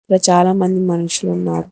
ఇక్కడ చాలా మంది మనుషులు ఉన్నారు.